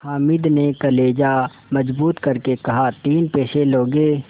हामिद ने कलेजा मजबूत करके कहातीन पैसे लोगे